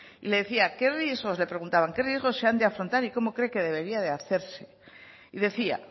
y le decía qué riesgos le preguntaban qué riesgos se han de afrontar y cómo cree que debería de hacerse y decía